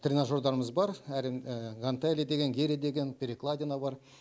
тренажердарымыз бар әрең гантели деген гири деген перекладина бар